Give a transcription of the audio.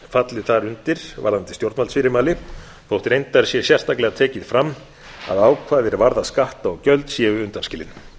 fallið þar undir varðandi stjórnvaldsfyrirmæli þótt reyndar sé sérstaklega tekið fram að ákvæði er varða skatta og gjöld séu undanskilin